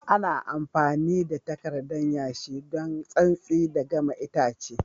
Ana amfami da takardan yashi don santsi da gama itace.